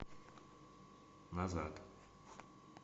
назад